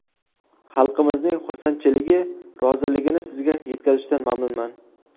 Xalqimizning xursandchiligi, roziligini sizga yetkazishdan mamnunman.